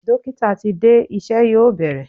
Dókítà ti dé, iṣẹ́ yóò bẹ̀rẹ̀.